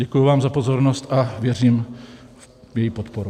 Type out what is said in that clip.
Děkuji vám za pozornost a věřím v její podporu.